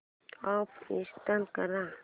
app install कर